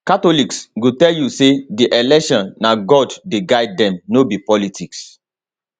catholics go tell you say di election na god dey guide dem no be politics